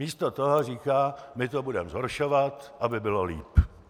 Místo toho říká: my to budeme zhoršovat, aby bylo lépe!